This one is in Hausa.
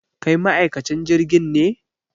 Kai ma'aikacin jirgin ne?